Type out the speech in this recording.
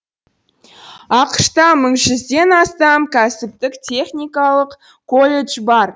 ақш та мың жүзденден астам кәсіптік техникалық колледж бар